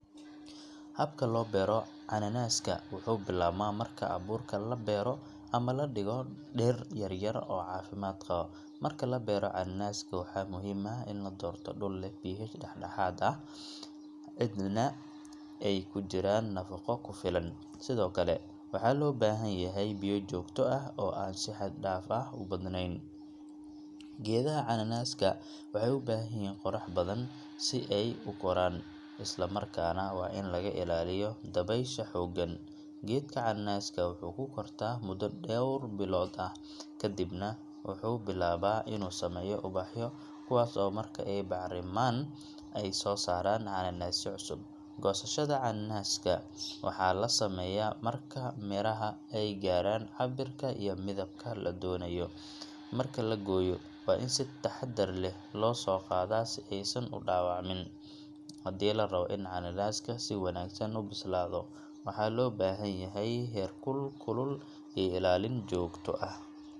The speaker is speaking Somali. Habka loo beero cananaaska wuxuu bilaabmaa marka abuurka la beero ama la dhigayo dhir yar-yar oo caafimaad qaba. Marka la beero cananaaska, waxaa muhiim ah in la doorto dhul leh pH dhexdhexaad ah, ciidna ay ku jiraan nafaqo ku filan, sidoo kale waxaa loo baahan yahay biyo joogto ah oo aan si xad dhaaf ah u badaneyn. Geedaha cananaaska waxay u baahan yihiin qorrax badan si ay u koraan, isla markaana waa in laga ilaaliyo dabaysha xooggan. Geedka cananaaska wuxuu ku kortaa muddo dhowr bilood ah, ka dibna wuxuu bilaabaa inuu sameeyo ubaxyo, kuwaas oo marka ay bacrimmaan, ay soo saaraan canaanasyo cusub. Goosashada canaanaska waxaa la sameeyaa marka miraha ay gaaraan cabbirka iyo midabka la doonayo. Marka la gooyo, waa in si taxaddar leh loo soo qaadaa si aysan u dhaawacmin. Haddii la rabo in cananaaska si wanaagsan u bislaado, waxaa loo baahan yahay heerkul kulul iyo ilaalin joogto ah.